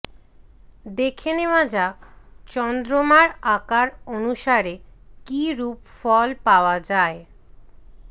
দেখে নেওয়া যাক চন্দ্রমার আকার অনুসারে কী রূপ ফল পাওয়া যায়